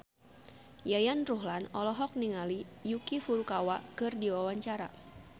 Yayan Ruhlan olohok ningali Yuki Furukawa keur diwawancara